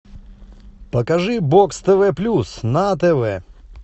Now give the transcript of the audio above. покажи бокс тв плюс на тв